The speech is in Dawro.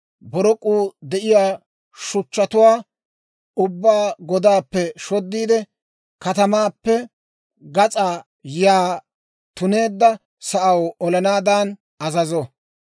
borok'uu de'iyaa shuchchatuwaa ubbaa godaappe shoddiide, katamaappe gas'aa yaa tuneedda sa'aw olanaadan azazo.